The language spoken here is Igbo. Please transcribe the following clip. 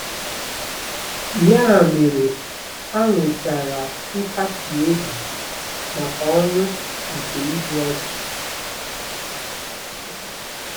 Ya mere, ha nwetara nkasi obi maka ọnwụ nke igbu ọchụ.